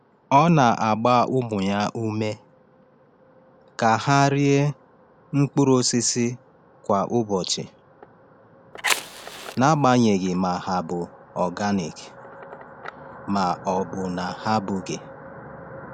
Ọ na-agba ụmụ ya ume ka ha rie mkpụrụ osisi kwa ụbọchị, n’agbanyeghị ma ha bụ organic ma ọ bụ na ha abụghị.